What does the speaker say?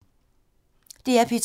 DR P2